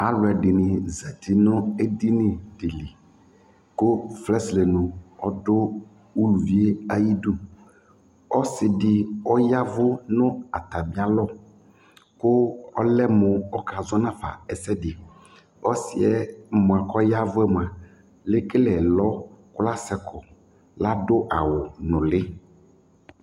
Alʋ ɛdɩnɩ zati nʋ edini dɩ li kʋ fɛsɛlɛ nu ɔdʋ uluvi yɛ ayidu Ɔsɩ dɩ ɔya ɛvʋ nʋ atamɩalɔ kʋ ɔlɛ mʋ ɔkazɔ nafa ɛsɛdɩ Ɔsɩ yɛ mʋa kʋ ɔya ɛvʋ yɛ mʋa, ekele ɛlɔ kʋ asɛ kɔ Adʋ awʋ nʋlɩ